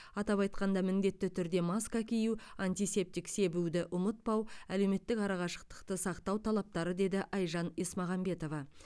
атап айтқанда міндетті түрде маска кию антисептик себуді ұмытпау әлеуметтік арақашықтықты сақтау талаптары деді айжан есмағамбетова